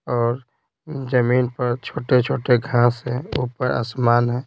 और जमीन पर छोटे-छोटे घास है ऊपर आसमान है।